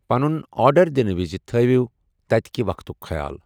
پنُن آرڈر دِنہٕ وِزِ تھٲیِو تتہِ کہِ وقتُک خیال۔